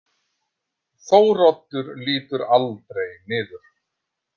Þóroddur lítur aldrei niður.